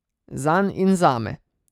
Zanj in zame.